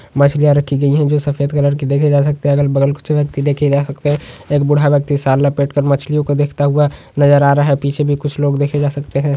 मछलियां रखी गई है जो सफ़ेद कलर के देखे जा सकते है अगल-बगल कुछ व्यक्ति देखे जा सकते है एक बूढ़ा व्यक्ति साल लपेट कर मछलियों को देखता हुआ नजर आ रहा है पीछे भी कुछ लोग देखे जा सकते है।